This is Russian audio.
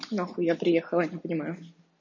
нахуй я приехала не понимаю